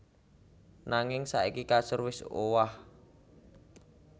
Nanging saiki kasur wis owah